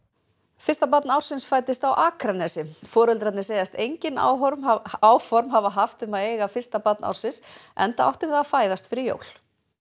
fyrsta barn ársins fæddist á Akranesi foreldrarnir segjast engin áform hafa áform hafa haft um að eiga fyrsta barn ársins enda átti það að fæðast fyrir jól